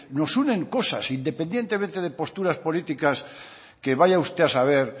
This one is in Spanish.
nos unen cosas independientemente de posturas políticas que vaya usted a saber